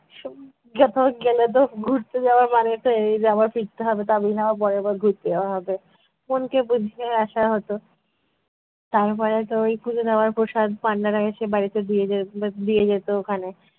কোথাও গেলে তো ঘুরতে যাওয়ার মানে তো এই যে আবার ফিরতে হবে তবেই না আবার পরের বার ঘুরতে যাওয়া হবে। মনকে বুঝিয়ে আসা হতো। তারপরে তো ওই পুজো নেওয়ার প্রসাদ পান্ডারা এসে বাড়িতে দিয়ে যে~ দিয়ে যেত ওখানে।